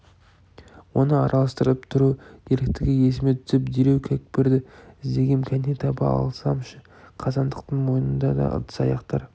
оны араластырып тұру керектігі есіме түсіп дереу кәкпірді іздегем кәне таба алсамшы қазандықтың мойнында да ыдыс-аяқтар